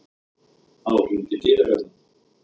Þá hringdi dyrabjallan.